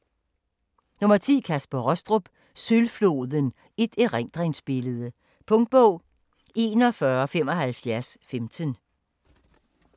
10. Rostrup, Kaspar: Sølvfloden: et erindringsbillede Punktbog 417515